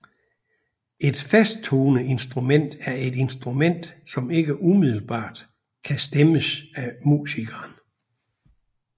Et fasttoneinstrument er et instrument som ikke umiddelbart kan stemmes af musikeren